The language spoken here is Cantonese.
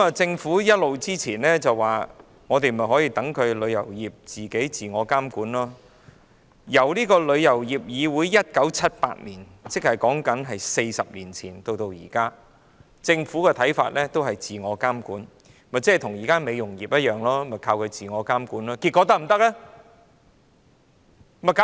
政府過往一直表示要讓旅遊業自我監管，旅議會於1978年成立，至今已40年，政府說要讓其自我監管，不就跟現時的美容業一樣，依靠自我監管，但可行嗎？